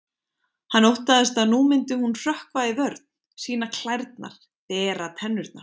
Hann óttaðist að nú myndi hún hrökkva í vörn, sýna klærnar, bera tennurnar.